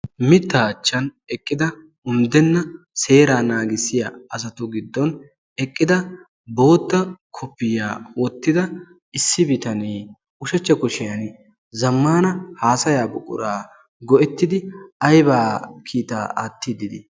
Mittaa achchan eqqida unddenna seeraa asatu giddon eqqida bootta koppiyiya wottida issi bitanee ushachcha kushiyan zammaana haasayaa buquraa go"ettidi ayba kiitaa aattiiddi de"ii?